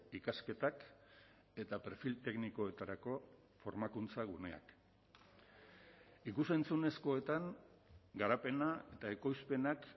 ikasketak eta perfil teknikoetarako formakuntza guneak ikus entzunezkoetan garapena eta ekoizpenak